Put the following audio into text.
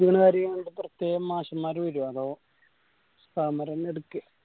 പഠിപ്പിക്കണ കാര്യങ്ങള് ഈട പ്രത്യേകം മാഷമ്മാര് വേരോ അതോ ഉസ്താദ്‌മാരെന്നെ എടുക്കെ